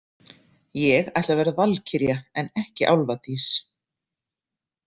Ég ætla að verða valkyrja en ekki álfadís.